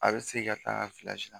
A be se ka taa ka la